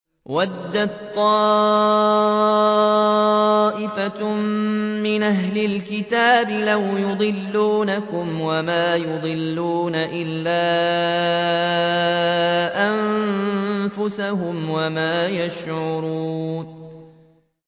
وَدَّت طَّائِفَةٌ مِّنْ أَهْلِ الْكِتَابِ لَوْ يُضِلُّونَكُمْ وَمَا يُضِلُّونَ إِلَّا أَنفُسَهُمْ وَمَا يَشْعُرُونَ